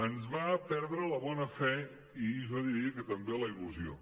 ens va perdre la bona fe i jo diria que també la il·lusió